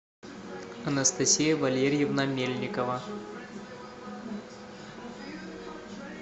анастасия валерьевна мельникова